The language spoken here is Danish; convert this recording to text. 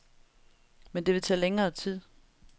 Men det vil tage længere tid.